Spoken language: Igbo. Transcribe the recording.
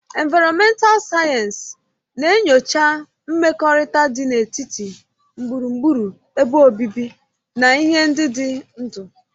Ịnvaromental Sayensị na-enyocha mmekọrịta dị n'etiti gburugburu ebe obibi na ihe ndị dị ndụ.